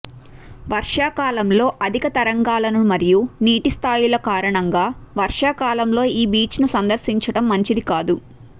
వర్షాకాలంలో అధిక తరంగాలను మరియు నీటి స్థాయిల కారణంగా వర్షాకాలంలో ఈ బీచ్ ను సందర్శించడం మంచిది కాదు